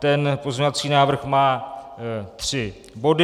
Ten pozměňovací návrh má tři body.